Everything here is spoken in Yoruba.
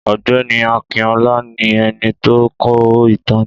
Ọ̀gbẹ́ni Akinọlá, ní ẹni tó kọ ìtàn na.